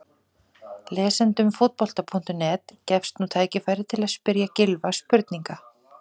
Lesendum Fótbolta.net gefst nú tækifæri til að spyrja Gylfa spurninga.